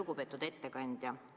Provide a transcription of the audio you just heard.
Lugupeetud ettekandja!